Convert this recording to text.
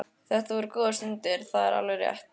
Þetta voru góðar stundir, það var alveg rétt.